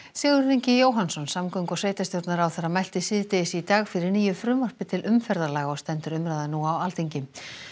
Sigurður Ingi Jóhannsson samgöngu og sveitarstjórnarráðherra mælti síðdegis í dag fyrir nýju frumvarpi til umferðarlaga og stendur umræðan nú á Alþingi